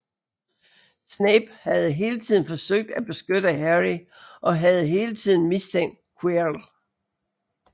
Snape havde hele tiden forsøgt at beskytte Harry og havde hele tiden mistænkt Quirrell